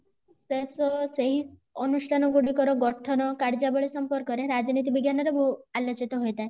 cess ସେହି ଅନୁଷ୍ଠାନ ଗୁଡିକର ଗଠନ କର୍ଜ୍ୟାବଳି ସମ୍ପର୍କ ରେ ରାଜନୀତି ବିଜ୍ଞାନ ରେ ବୋ ଆଲୋଚିତ ହୋଇଥାଏ